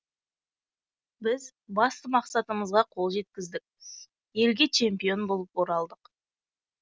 біз басты мақсатымызға қол жеткіздік елге чемпион болып оралдық